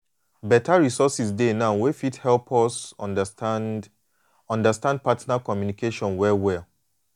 beta resources dey now wey fit help us understand understand partner communication well well.